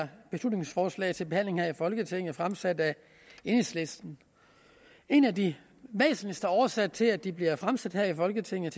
her beslutningsforslag til behandling her i folketinget fremsat af enhedslisten en af de væsentligste årsager til at de bliver fremsat her i folketinget